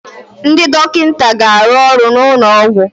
Ndị dọkịta ga-arụ ọrụ n'ụlọ ọgwụ